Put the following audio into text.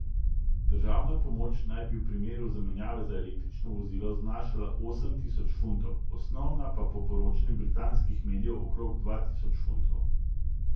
Državna pomoč naj bi v primeru zamenjave za električno vozilo znašala osem tisoč funtov, osnovna pa po poročanju britanskih medijev okrog dva tisoč funtov.